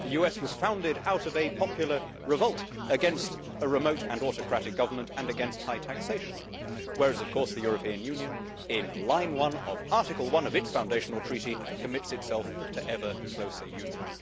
The US was founded out of a popular revolt against a remote and autocratic government and against high taxation, whereas, of course, the European Union in line 1 of Article 1 of its foundational treaty commits itself to ever closer union.